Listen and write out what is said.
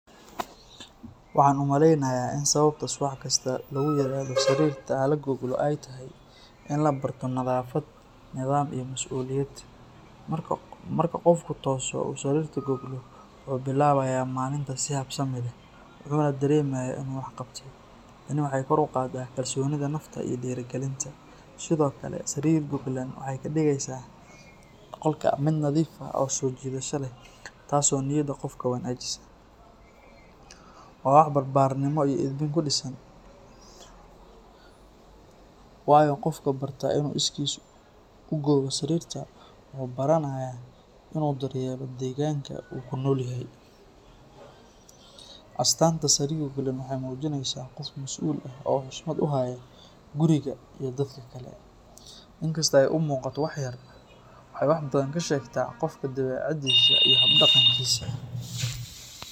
Waxaan u maleynayaa in sababta subax kasta lagu yiraahdo sariirta ha la goglo ay tahay in la barto nadaafad, nidaam, iyo masuuliyad. Marka qofku tooso oo uu sariirtiisa goglo, wuxuu bilaabayaa maalinta si habsami leh, wuxuuna dareemayaa inuu wax qabtay. Tani waxay kor u qaadaa kalsoonida nafta iyo dhiirigelinta. Sidoo kale, sariir goglan waxay ka dhigeysaa qolka mid nadiif ah oo soo jiidasho leh, taas oo niyadda qofka wanaajisa. Waa wax barbaarinimo iyo edbin ku dhisan, waayo qofka barta inuu iskiis u gogo sariirta wuxuu baranayaa inuu daryeelo deegaanka uu ku nool yahay. Astaanta sariir goglan waxay muujineysaa qof masuul ah oo xushmad u haya guriga iyo dadka kale. Inkastoo ay u muuqato wax yar, waxay wax badan ka sheegtaa qofka dabiicaddiisa iyo hab-dhaqankiisa.